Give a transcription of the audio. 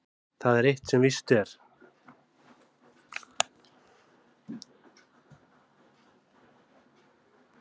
Það er eitt sem víst er.